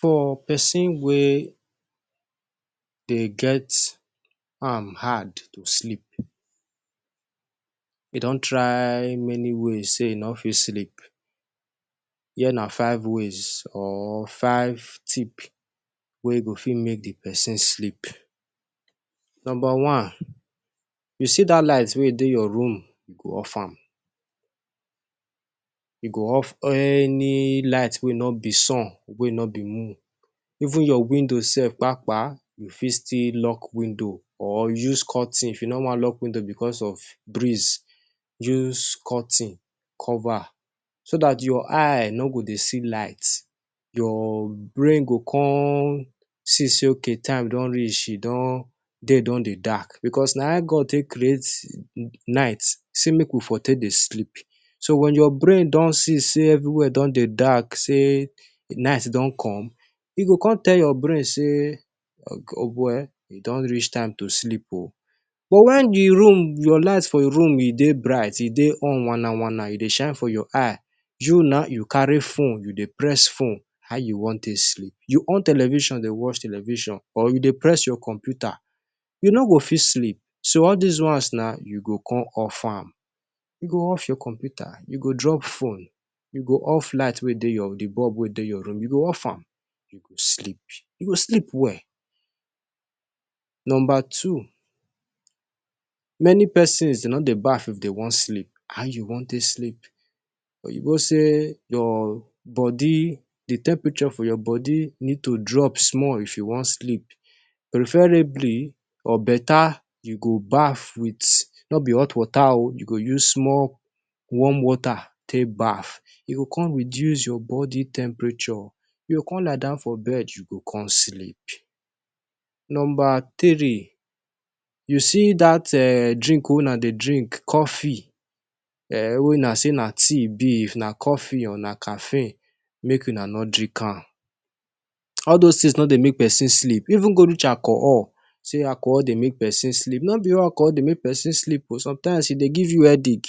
For pesin wey dey get am hard to sleep, e don try many ways say e no fit sleep, here na five ways or five tip wey go fit make di pesin sleep. Number one, you see dat light wey dey your room, you go off am. You go off any light wey no be sun, wey no be moon. Even your window sef, kpakpa, you fit still lock window or use curtain. If you no wan lock window bicos of breeze, use curtain cover, so that your eye no go dey see light. Your brain go come see say okay, time don reach, e don day don dey dark. Bicos na how God take create night, say make we for take dey sleep. So when your brain don see say evri wia don dey dark, say night don come, e go come tell your brain say oboy, e don reach time to sleep oh. But wen di room your light for room e dey bright, e dey on wana-wana, e dey shine for your eye, you now you carry phone you dey press phone, how you wan take sleep? You on television dey watch television or you dey press your computer, you no go fit sleep. So all dis ones na you go come off am. You go off your computer, you go drop phone, you go off light wey dey your bulb wey dey your room. You go off am. You go sleep. You go sleep well. Number two, many pesins dey no dey baff if dem wan sleep. How you wan take sleep? Oyinbo say your body, di temperature for your body, need to drop small if you wan sleep. Preferebly, or betta, you go baff with — no be hot water oh — you go use small warm water take baff. E go come reduce your body temperature. You go come lie down for bed, you go come sleep. Number three, you see dat um drink wey una dey drink, coffee um, wey una say na tea e be. If na coffee or na cafe, make una no drink am. All dose tins no dey make pesin sleep. Even go reach alcohol, say alcohol dey make pesin sleep — no be all alcohol dey make pesin sleep o. Sometime e dey give you headache.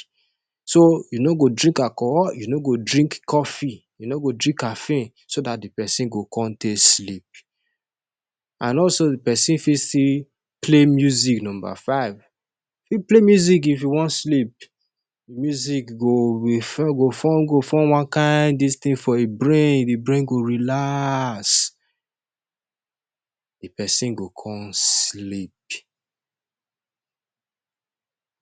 So you no go drink alcohol, you no go drink coffee, you no go drink cafe, so that di pesin go come take sleep. And also, di pesin fit still play music number five. If you play music if you wan sleep, music refo, go form go form one kain dis tin for di brain, e brain go relax. Di pesin go come sleep.